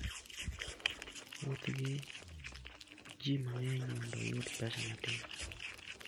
Wuoth gi ji mang'eny mondo iyud pesa matin.